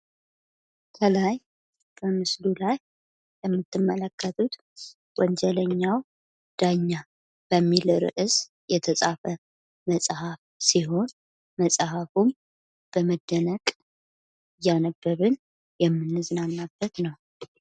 ከላይ በምስሉ ላይ የምትመለከቱት ወንጀለኛው ዳኛ በሚል ርዕስ የተጻፈ መጽሐፍ ሲሆን መጽሐፉን በመደነቅ እያነበብን የምንጽናናበት ነው።